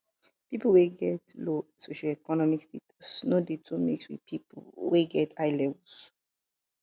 pipo wey get low socioeconomic status no de too mix with pipo wey get high levels